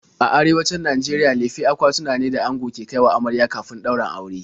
A Arewacin Najeriya lefe akwatuna ne da ango ke kai wa amarya kafin ɗaurin aure.